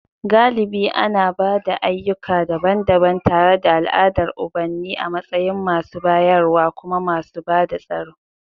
Galibi ana ba da ayyuka daban-daban, tare da al'adar ubanni a matsayin masu bayarwa kuma masu bada tsaro.